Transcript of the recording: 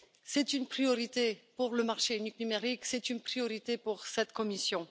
C'est une priorité pour le marché unique numérique, c'est une priorité pour cette Commission.